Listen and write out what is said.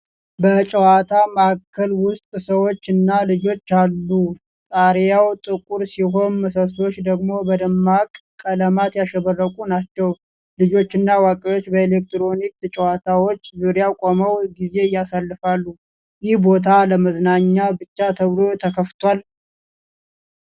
በጨዋታ ማዕከል ውስጥ ሰዎች እና ልጆች አሉ። ጣሪያው ጥቁር ሲሆን ምሰሶቹ ደግሞ በደማቅ ቀለማት ያሸበረቁ ናቸው። ልጆችና አዋቂዎች በኤሌክትሮኒክስ ጨዋታዎች ዙሪያ ቆመው ጊዜ ያሳልፋሉ። ይህ ቦታ ለመዝናኛ ብቻ ተብሎ ተከፍቷል?